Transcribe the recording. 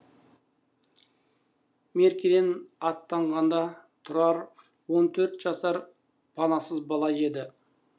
меркеден аттанғанда тұрар он төрт жасар панасыз бала еді